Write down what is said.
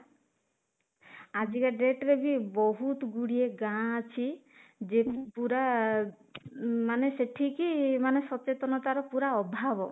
ଆଜିକା date ରେ ବି ବହୁତ ଗୁଡିଏ ଗାଁ ଅଛି ପୁରା ମାନେ ସେଠିକି ମାନେ ସଚେତନତା ର ପୁରା ଅଭାବ